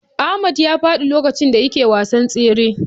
Ahmad ya faɗi lokacin da yake wasan tsere.